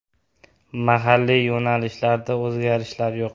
Mahalliy yo‘nalishlarda o‘zgarishlar yo‘q.